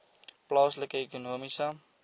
plaaslike ekonomiese